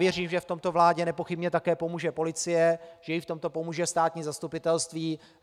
Věřím, že v tomto vládě nepochybně také pomůže policie, že jí v tom pomůže státní zastupitelství.